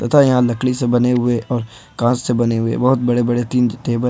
तथा यहां लकड़ी से बने हुए और कांच से बने हुए बहोत बड़े बड़े तीन टेबल--